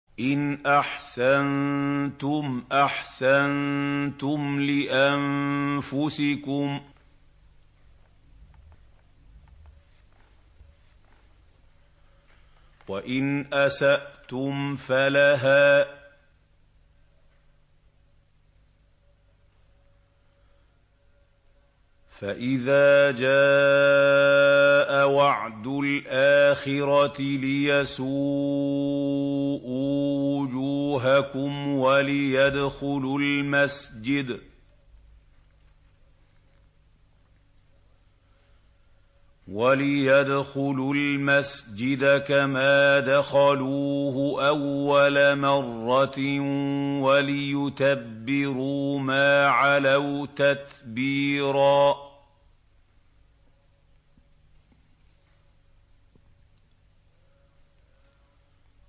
إِنْ أَحْسَنتُمْ أَحْسَنتُمْ لِأَنفُسِكُمْ ۖ وَإِنْ أَسَأْتُمْ فَلَهَا ۚ فَإِذَا جَاءَ وَعْدُ الْآخِرَةِ لِيَسُوءُوا وُجُوهَكُمْ وَلِيَدْخُلُوا الْمَسْجِدَ كَمَا دَخَلُوهُ أَوَّلَ مَرَّةٍ وَلِيُتَبِّرُوا مَا عَلَوْا تَتْبِيرًا